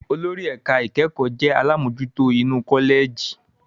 Olórí ẹ̀ka ìkẹ́kọ̀ọ́ jẹ́ àlámojutó inú kọ́lẹ̀jì.